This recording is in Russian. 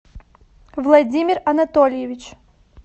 владимир анатольевич